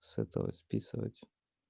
с этого списывать